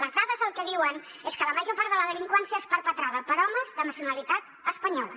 les dades el que diuen és que la major part de la delinqüència és perpetrada per homes de nacionalitat espanyola